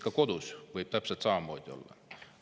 Kodus võib täpselt samamoodi olla.